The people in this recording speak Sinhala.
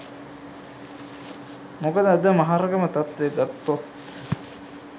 මොකද අද මහරගම තත්වය ගත්තොත්